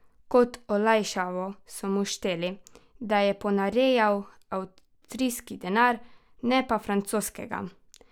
Kot olajšavo so mu šteli, da je ponarejal avstrijski denar ne pa francoskega.